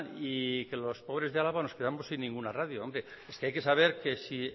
y que los pobres de álava nos quedamos sin ninguna radio hombre es que hay que saber que si